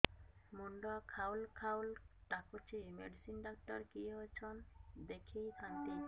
ମୁଣ୍ଡ ଖାଉଲ୍ ଖାଉଲ୍ ଡାକୁଚି ମେଡିସିନ ଡାକ୍ତର କିଏ ଅଛନ୍ ଦେଖେଇ ଥାନ୍ତି